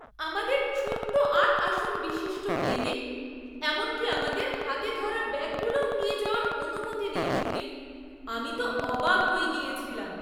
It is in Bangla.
আমাদের ছোট্ট আট আসন বিশিষ্ট প্লেনে এমনকি আমাদের হাতে ধরা ব্যাগগুলোও নিয়ে যাওয়ার অনুমতি নেই শুনে আমি তো অবাক হয়ে গিয়েছিলাম!